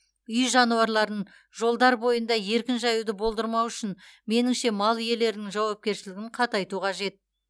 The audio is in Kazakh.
үй жануарларын жолдар бойында еркін жаюды болдырмау үшін меніңше мал иелерінің жауапкершілігін қатайту қажет